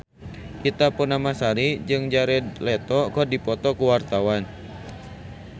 Ita Purnamasari jeung Jared Leto keur dipoto ku wartawan